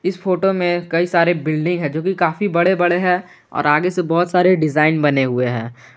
इस फोटो में कई सारे बिल्डिंग है जो कि काफी बड़े बड़े हैं और आगे से बहुत सारे डिजाइन बने हुए हैं।